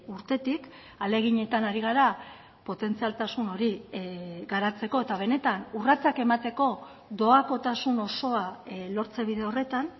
urtetik ahaleginetan ari gara potentzialtasun hori garatzeko eta benetan urratsak emateko doakotasun osoa lortze bide horretan